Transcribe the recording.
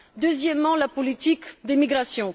Deuxièmement, la politique de migration.